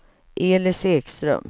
Elis Ekström